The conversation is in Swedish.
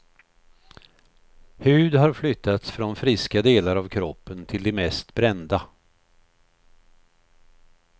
Hud har flyttats från friska delar av kroppen till de mest brända.